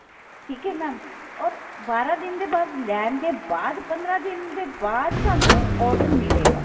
ਠੀਕ ਹੈ mam or ਬਾਰਾਂ ਦਿਨ ਦੇ ਬਾਅਦ ਲੈਣ ਦੇ ਬਾਅਦ ਪੰਦਰਾਂ ਦਿਨ ਦੇ ਬਾਅਦ ਸਾਨੂੰ order ਮਿਲੇਗਾ